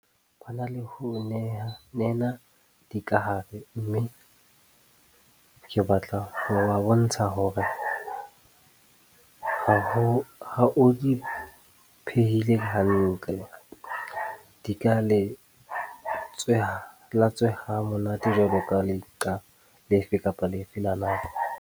Batho ba na le ho nena dikahare mme ke batla ho ba bontsha hore ha o di phehile hantle, di ka latsweha ha monate jwaloka leqa lefe kapa lefe la nama.